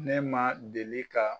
Ne ma deli ka